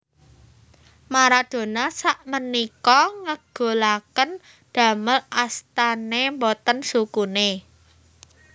Maradona sakmenika ngegolaken damel astane mboten sukune